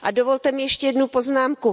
A dovolte mi ještě jednu poznámku.